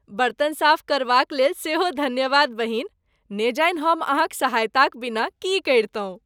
बर्तन साफ करबाक लेल सेहो धन्यवाद, बहिन। न जाने हम अहाँक सहायताक बिना की करितहुँ।